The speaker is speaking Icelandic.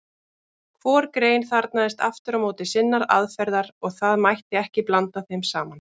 Hvor grein þarfnaðist aftur á móti sinnar aðferðar og það mætti ekki blanda þeim saman.